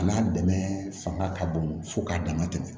A n'a dɛmɛ fanga ka bon fo k'a dama tɛmɛ